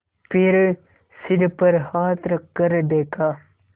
फिर सिर पर हाथ रखकर देखा